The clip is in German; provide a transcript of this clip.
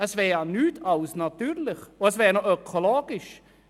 Es wäre nichts als natürlich und auch noch ökologisch.